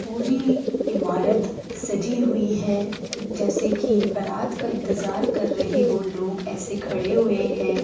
पूरी ईमारत सजी हुई है जैसे की बारात का इंतज़ार कर रहे हो लोग| ऐसे खड़े हुए है।